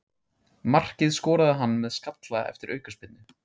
Markið skoraði hann með skalla eftir aukaspyrnu.